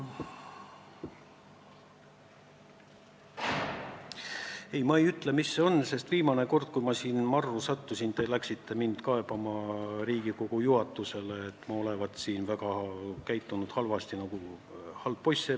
Ei, ma parem ei ütle, mis see on, sest viimane kord, kui ma siin marru sattusin, te läksite Riigikogu juhatusele kaebama, et ma olen käitunud väga halvasti nagu halb poiss.